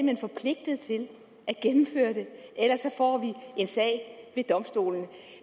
hen forpligtet til at gennemføre det ellers får vi en sag ved domstolen